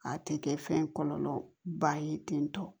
A tɛ kɛ fɛn kɔlɔlɔ ba ye tentɔ